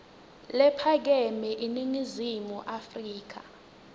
lephakeme eningizimu afrika